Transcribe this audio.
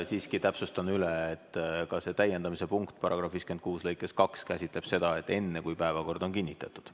Siiski täpsustan üle, et ka see täiendamise punkt § 56 lõikes 2 käsitleb seda, et enne, kui päevakord on kinnitatud.